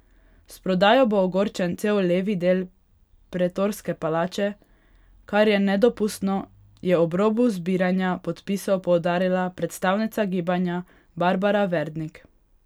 S prodajo bo ogrožen cel levi del Pretorske palače, kar je nedopustno, je ob robu zbiranja podpisov poudarila predstavnica gibanja Barbara Verdnik.